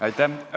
Aitäh!